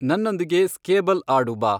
ನನ್ನೊಂದಿಗೆ ಸ್ಕೇಬಲ್ ಆಡು ಬಾ